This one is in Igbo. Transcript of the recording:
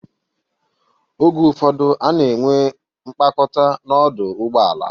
Oge ụfọdụ, a na-enwe mkpakọta n'ọdụ ụgbọala.